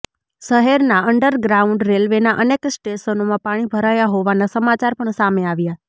શહેરના અન્ડરગ્રાઉન્ડ રેલવેના અનેક સ્ટેશનોમાં પાણી ભરાયા હોવાના સમાચાર પણ સામે આવ્યા